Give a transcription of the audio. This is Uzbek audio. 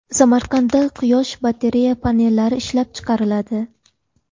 Samarqandda quyosh batareya panellari ishlab chiqariladi.